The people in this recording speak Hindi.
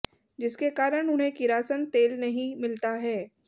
जिसके कारण उन्हें किरासन तेल नहीं मिलता है